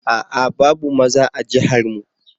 A'a! babu maza a jihar mu.